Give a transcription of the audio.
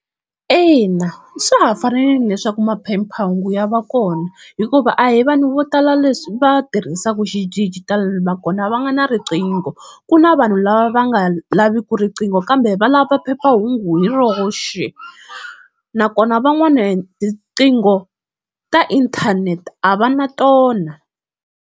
Ina swa ha fanerile leswaku maphephahungu ya va kona, hikuva a hi vanhu vo tala leswi va tirhisaka xidijitali nakona va nga na riqingho ku na vanhu lava va nga laviki riqingho kambe va lava phephahungu hi roxe, nakona van'wani tiqingho ta inthanete a va na tona.